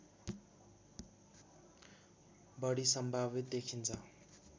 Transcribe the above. बढी सम्भावित देखिन्छ